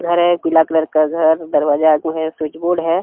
हरे पीला कलर का घर दरवाजा आगू है स्विच बोर्ड है।